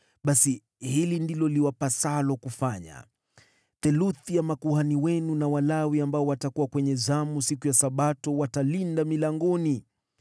Basi hivi ndivyo iwapasavyo kufanya: Theluthi yenu makuhani na Walawi ambao mnaingia zamu siku ya Sabato mtalinda milangoni,